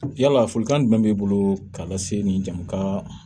Yala folikan jumɛn b'i bolo k'a lase ni jamu ka